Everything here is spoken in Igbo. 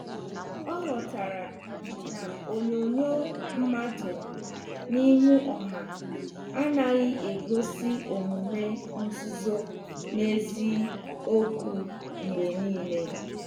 Ọ ghọtara na onyonyo mmadụ n'ihu ọha anaghị egosi omume nzuzo n'eziokwu mgbe niile.